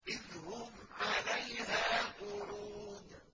إِذْ هُمْ عَلَيْهَا قُعُودٌ